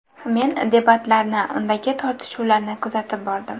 Men debatlarni, undagi tortishuvlarni kuzatib bordim.